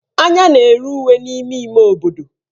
Anya na-ere uwe n'ime ime obodo.